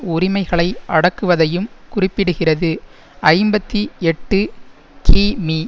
உரிமைகளை அடக்குவதையும் குறிப்பிடுகிறது ஐம்பத்தி எட்டு கிமீ